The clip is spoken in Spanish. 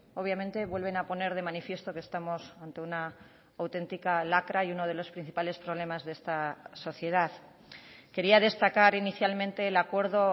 obviamente vuelven a poner de manifiesto que estamos ante una auténtica lacra y uno de los principales problemas de esta sociedad quería destacar inicialmente el acuerdo